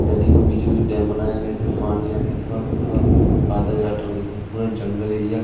नदी के बीचों बीच डैम बनाया गया जिसमें पानी इस पार से उस पार आता जाता हुआ दिखाई पूरा जंगल एरिया --